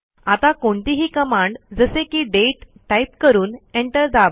आता कोणतीही कमांड जसे की दाते टाईप करून Enter दाबा